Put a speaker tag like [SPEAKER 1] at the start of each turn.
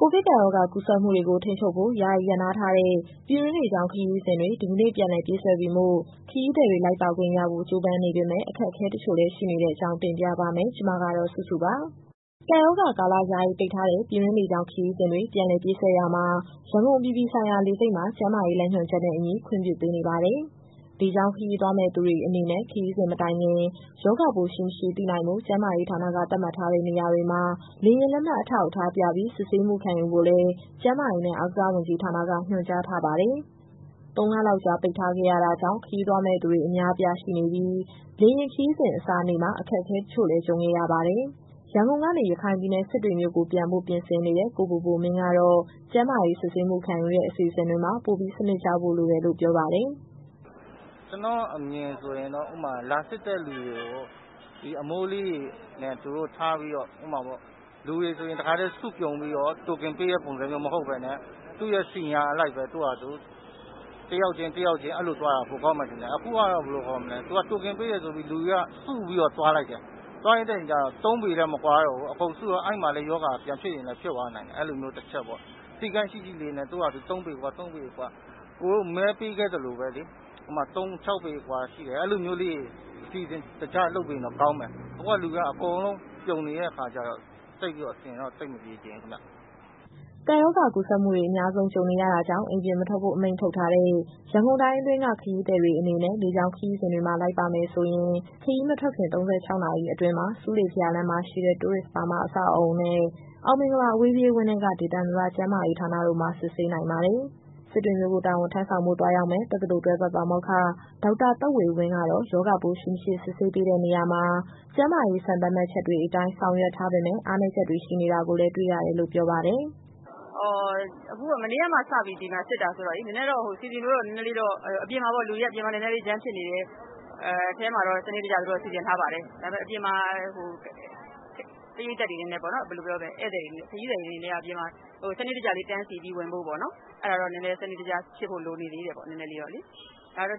[SPEAKER 1] ကိုဗစ်ကပ်ရောဂါကူးစက်မှုတွေကို ထိန်းချုပ်ဖို့ ယာယီရပ်နားထားတဲ့ ပြည်တွင်းလေကြောင်းခရီးစဉ်တွေ ဒီကနေ့ ပြန်လည်ပြေးဆွဲပြီမို့ ခရီးသည်တွေ လိုက်ပါခွင့်ရဖို့ ကြိုးစားနေပေမဲ့ အခက်အခဲတချို့လည်း ရှိနေတဲ့အကြောင်း တင်ပြပါမယ်။ ဗွီအိုအေမြန်မာပိုင်း သတင်းထောက် မစုစုက သတင်းပေးပို့ထားပါတယ်။ ကပ်ရောဂါကာလ ယာယီပိတ်ထားတဲ့ ပြည်တွင်းလေကြောင်း ခရီးစဉ်တွေ ပြန်လည်ပြေးဆွဲရာမှာ ရန်ကုန်အပြည်ပြည်ဆိုင်ရာ လေဆိပ်မှာ ကျန်းမာရေး လမ်းညွှန်ချက်နဲ့အညီ ခွင့်ပြုပေးနေပါတယ်။ လေကြောင်းခရီးသွားမယ့် သူတွေအနေနဲ့ ခရီးစဉ်မတိုင်ခင် ရောဂါပိုးရှိ၊ မရှိသိနိုင်ဖို့ ကျန်းမာရေးဌာနက သတ်မှတ်ထားတဲ့နေရာတွေမှာ လေယာဉ်လက်မှတ်အထောက်အထားပြပြီး စစ်ဆေးမှုခံယူဖို့လည်း ကျန်းမာရေးနဲ့ အားကစားဝန်ကြီးဌာနက ညွှန်ကြားထားပါတယ်။ ၃ လလောက်ကြာ ပိတ်ထားခဲ့ရတာကြောင့် ခရီးသွားမယ့်သူတွေ အများအပြားရှိနေတာကြောင့် လေယာဉ်ခရီးစဉ် အစနေ့မှာ အခက်အခဲ တချို့လည်း ကြုံခဲ့ရပါတယ်။ ရန်ကုန်ကနေ ရခိုင်ပြည်နယ် စစ်တွေမြို့ကို ပြန်ဖို့ပြင်ဆင်နေတဲ့ ကိုဘိုဘိုမင်းကတော့ ကျန်းမာရေးစစ်ဆေးမှု ခံယူတဲ့ အစီအစဉ်တွေမှာ ပိုပြီးစနစ်ကျဖို့လိုတယ်လို့ ပြောပါတယ်
[SPEAKER 2] ။ "ကျနော့်အမြင်ဆိုရင်တော့ ဥပမာ လာစစ်တဲ့သူတွေကို အမိုးလေးတွေနဲ့ ထားပြီးတော့ပေါ့နော်... လူတွေအကုန်လုံးကို စုပြုံပြီးတော့ Token ပေးတဲ့ ပုံစံမျိုးမဟုတ်ဘဲနဲ့ သူ့ရဲ့စီနီယာအလိုက် တယောက်ချင်းသွားတာ ပိုကောင်းမယ်ထင်တယ်။ အခုကျတာ့ သူက Token ပေးမယ်ဆို လူတွေက စုပြီးတော့ သွားလိုက်တယ်။ ၃ ပေလည်းမကွာတော့ဘူး။ အကုန်စုနေတော့ အဲမှာလည်းရောဂါက ပြန်ဖြစ်သွားနိုင်တယ်။ အဲဒီလိုမျိုးတချက်ပေါ့။ စည်းကမ်းရှိရှိလေးနဲ့ သူ့ဟာသူ ၃ ပေအကွာ၊ အကိုတို့မဲပေးခဲ့သလိုပဲလေ။ ဥပမာ ၆ ပေအကွာရှိမယ်၊ အဲဒီလိုမျိုးလေးတွေ အစီအစဉ်တကျလုပ်ပေးရင်တော့ ကောင်းမယ်။ အခုက လူတွေက အကုန်လုံးပြုံနေတဲ့အခါကျတော့ အဆင်တော့သိပ်မပြေချင်ဘူးခင်ဗျ။"
[SPEAKER 1] ကပ်ရောဂါကူးစက်မှုတွေ အများဆုံး ကြုံနေရတာကြောင့် အိမ်ပြင်မထွက်ဖို့ အမိန့်ထုတ်ထားတဲ့ ရန်ကုန်တိုင်းအတွင်းက ခရီးသည်တွေ အနေနဲ့ လေကြောင်းခရီးစဉ်တွေမှာ လိုက်ပါမယ်ဆိုရင်၊ ခရီးမထွက်ခင် ၃၆ နာရီအတွင်းမှာ ဆူးလေဘုရားလမ်းမှာရှိတဲ့ Tourist Burma အဆောက်အဦနဲ့ အောင်မင်္ဂလာ အဝေးပြေးဝင်းထဲက ဒေသန္တရကျန်းမာရေးဌာနတို့မှာ စစ်ဆေးနိုင်ပါတယ်။ စစ်တွေမြို့ကို တာဝန်ထမ်းဆောင်ဖို့သွားရောက်မယ့် တက္ကသိုလ်တွဲဖက်ပါမောက္ခ ဒေါက်တာသက်ဝေဝင်းကတော့ ရောဂါပိုးရှိ၊ မရှိ စစ်ဆေးပေးတဲ့ နေရာမှာ ကျန်းမာရေးစံသတ်မှတ်ချက်တွေအတိုင်း ဆောင်ရွက်ထားပေမဲ့ အားနည်းချက်တွေ ရှိနေတာ တွေ့ရတယ်လို့ ပြောပါတယ်။
[SPEAKER 3] "မနေ့ကမှစပြီး ဒီမှာစစ်တာဆိုတော့လေ လူတွေကအပြင်မှာ နည်းနည်းလေးများနေပေမယ့် အထဲမှာတော့ သူတို့စနစ်တကျ စီစဉ်ထားပါတယ်။ အပြင်မှာ ခရီးသည်တွေအနေနဲ့ စနစ်တကျလေးတန်းစီပြီး ဝင်ဖို့ပေါ့နော်။ အဲ့ဒါတော့ နည်းနည်းလေးစနစ်တကျဖြစ်ဖို့ လိုနေသေးတယ်။ ဒါပေမဲ့ တ